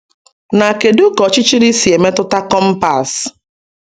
Na kedu ka ọchichiri si emetụta kompas?